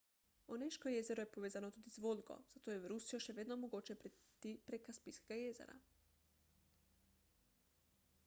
oneško jezero je povezano tudi z volgo zato je v rusijo še vedno mogoče priti prek kaspijskega jezera